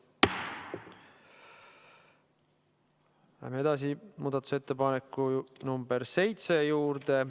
Läheme edasi muudatusettepaneku nt 7 juurde.